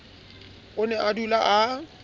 o ne a dula a